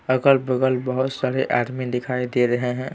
अगल-बगल बहुत सारे आदमी दिखाई दे रहे हैं।